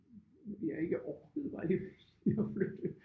Vi har ikke orket var jeg lige ved at sige at flytte